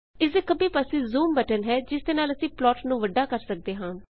ਇਸਦੇ ਖੱਬੇ ਪਾਸੇ ਜ਼ੂਮ ਬਟਨ ਹੈ ਜਿਸ ਦੇ ਨਾਲ ਅਸੀਂ ਪਲਾਟ ਨੂੰ ਵੱਡਾ ਕਰ ਸਕਦੇ ਹਾਂ